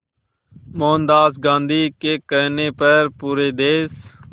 मोहनदास गांधी के कहने पर पूरे देश